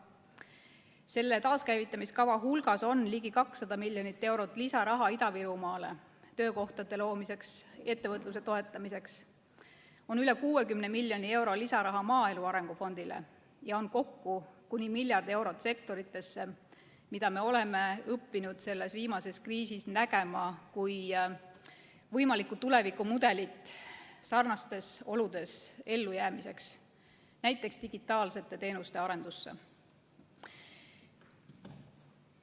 Selle taaskäivitamiskava hulgas on ligi 200 miljonit eurot lisaraha Ida-Virumaale töökohtade loomiseks ja ettevõtluse toetamiseks, selles on üle 60 miljoni euro lisaraha maaelu arengu fondile ja kokku kuni miljard eurot sektoritele, mida me oleme õppinud selles viimases kriisis nägema kui võimalikku tulevikumudelit sarnastes oludes ellujäämiseks, näiteks digitaalsete teenuste arendusse.